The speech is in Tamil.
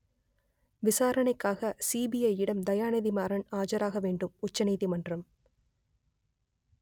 விசாரணைக்காக சிபிஐயிடம் தயாநிதி மாறன் ஆஜராக வேண்டும் உச்ச நீதிமன்றம்